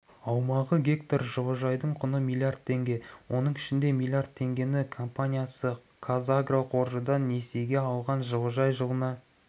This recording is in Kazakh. аумағы гектар жылыжайдың құны миллиард теңге оның ішінде миллиард теңгені компаниясы қазагроқаржыдан несиеге алған жылыжай жылына